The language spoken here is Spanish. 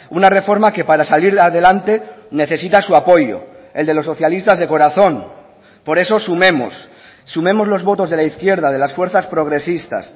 una reforma que para salir adelante necesita su apoyo el de los socialistas de corazón por eso sumemos sumemos los votos de la izquierda de las fuerzas progresistas